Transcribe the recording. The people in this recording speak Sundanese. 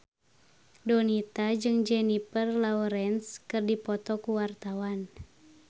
Donita jeung Jennifer Lawrence keur dipoto ku wartawan